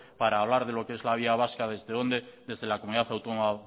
para hablar de lo que es la vía vasca desde dónde desde la comunidad autónoma